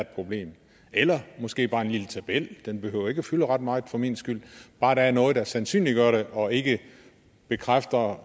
et problem eller måske bare en lille tabel og den behøver ikke fylde ret meget for min skyld bare der er noget der sandsynliggør det og ikke bekræfter